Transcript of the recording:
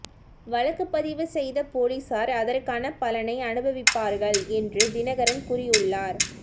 வழக்கு பதிவு செய்த போலீசார் அதற்கான பலனை அனுபவிப்பார்கள் என்றும் தினகரன் கூறியுள்ளார்